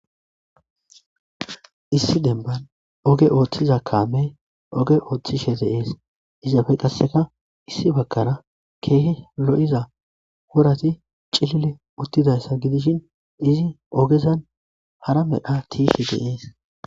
Issi demban oge ooththiza kaame oge ooththishe deees izzaafe qasseka issi bagkara keehe lo'iza wurati cilile uttidayssa gidishin izi ogezan hara medha tiishe de'ees.